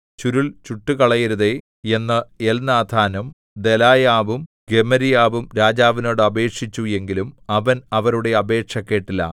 ചുരുൾ ചുട്ടുകളയരുതേ എന്ന് എൽനാഥാനും ദെലായാവും ഗെമര്യാവും രാജാവിനോട് അപേക്ഷിച്ചു എങ്കിലും അവൻ അവരുടെ അപേക്ഷ കേട്ടില്ല